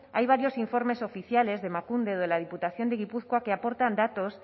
hay varios informes oficiales de emakunde o de la diputación de gipuzkoa que aportan datos